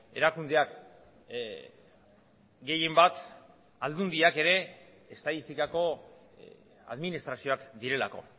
erakundeak gehienbat aldundiak ere estatistikako administrazioak direlako